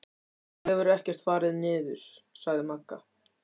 Þú hefur ekkert farið niður, sagði Magga.